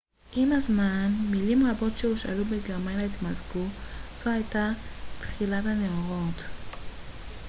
עם הזמן מילים רבות שהושאלו מגרמנית התמזגו זו הייתה תחילת הנאורות